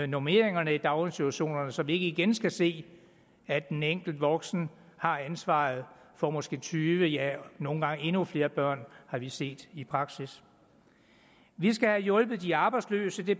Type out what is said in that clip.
normeringerne i daginstitutionerne så vi ikke igen skal se at en enkelt voksen har ansvaret for måske tyve ja nogle gange endnu flere børn har vi set i praksis vi skal have hjulpet de arbejdsløse det